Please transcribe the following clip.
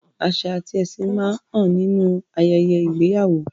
Àṣà àti ẹ̀sìn máa ń hàn nínú ayẹyẹ ìgbéyàwó.